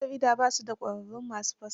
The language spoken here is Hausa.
Gidan jaridar ba su da ƙwararrun ma su fassara.